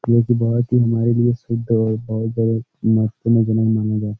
ये तो बहोत ही हमारे लिए शुद्ध और बहोत बहोत मस्त महीना माना जा --